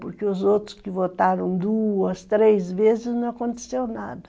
Porque os outros que votaram duas, três vezes, não aconteceu nada.